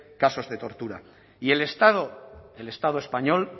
casos de tortura y el estado el estado español